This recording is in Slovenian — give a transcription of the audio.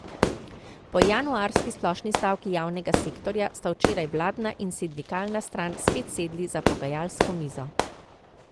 Po januarski splošni stavki javnega sektorja sta včeraj vladna in sindikalna stran spet sedli za pogajalsko mizo.